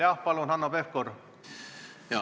Palun, Hanno Pevkur!